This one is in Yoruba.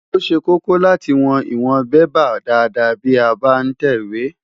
Ó ṣe kókó láti wọn ìwọ̀n bébà dáadáa bí a bá ń tẹ ìwé.